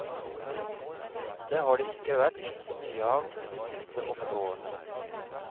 Det har det ikke vært så mye av de siste åtte årene.